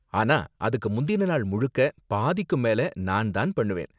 ஆனா, அதுக்கு முந்தின நாள் முழுக்க பாதிக்கும் மேல நான் தான் பண்ணுவேன்.